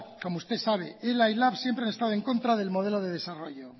como usted sabe ela y lab siempre han estado en contra del modelo de desarrollo